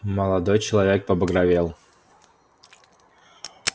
молодой человек побагровел